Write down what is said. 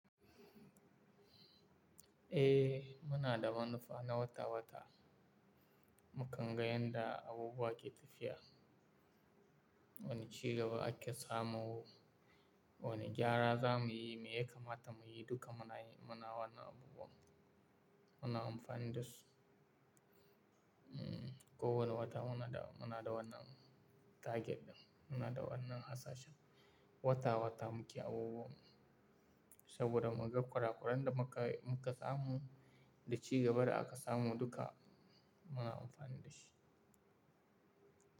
Eh, muna da manufa na wata wata. Mu kanga yanda abubuwa ke tafiya, wani ci gaba ake samu, wani gyara za muyi, me ya kamata muyi duka muna yi, muna wanna abubuwa, muna amfani da su. Uhm, ko wane wata muna da, muna da wannan target ɗin, muna da wannan hassashen wata wata muke abubuwa. Saboda mu ga ƙuraƙuran da muka, muka samu da ci gaban da aka samu duka muna amfani da shi.